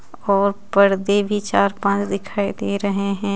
और पर्दे भी चार-पांच दिखाई दे रहे हैं.